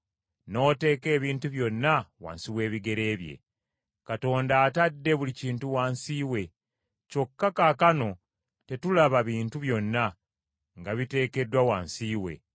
n’oteeka ebintu byonna wansi w’ebigere bye.” Katonda atadde buli kintu wansi we. Kyokka kaakano tetulaba bintu byonna nga biteekeddwa wansi we.